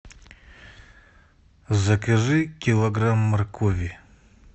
закажи килограмм моркови